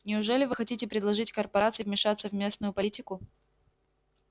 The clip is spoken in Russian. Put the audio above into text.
неужели вы хотите предложить корпорации вмешаться в местную политику